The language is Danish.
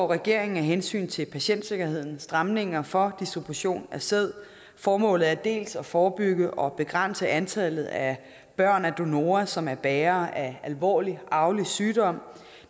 regeringen af hensyn til patientsikkerheden stramninger for distribution af sæd formålet er dels at forebygge og begrænse antallet af børn af donorer som er bærere af alvorlig arvelig sygdom